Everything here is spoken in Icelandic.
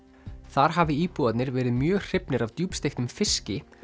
þar hafi íbúarnir verið mjög hrifnir af djúpsteiktum fiski